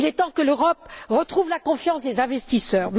Il est temps que l'Europe retrouve la confiance des investisseurs.